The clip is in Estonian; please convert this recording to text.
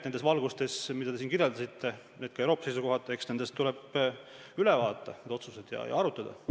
Selles valguses, mida te siin kirjeldasite, ka Euroopa seisukohalt, tuleb need otsused üle vaadata ja arutada.